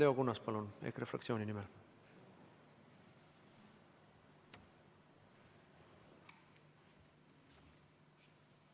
Leo Kunnas, palun, EKRE fraktsiooni nimel!